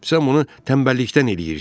Sən bunu tənbəllikdən eləyirsən.